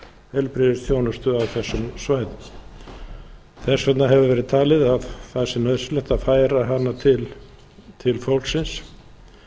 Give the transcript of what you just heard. heilbrigðisþjónustu af þessum svæðum þess vegna hefur verið talið að það sé nauðsynlegt að færa hana til fólksins